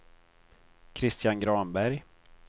Kristian Granberg